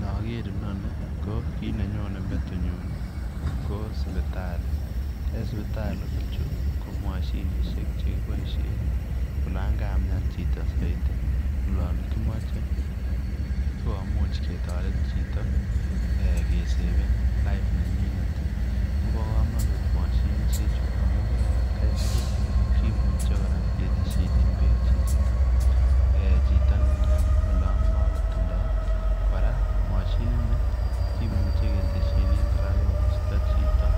Nager inoni ii ko kiit ne nyonei metinyuun ii ko sipitalii, en sipitaliit ko chuu ko mashinisheek chekibaisheen ii olaan kamiani chitoo Zaidi olaan kimache sikomuuch keteret chitoo sikeseven life nenyinet ii kobaa kamanut mashinisheek chuu amuun en at Kai tugul ii kimuchei ketesyineen beek chito ne miani olaan makotindoi ii kora mashiniit ni kimuchei ketilesyineen kora chitoo koristoi